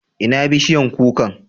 Ina bishiyan kukan?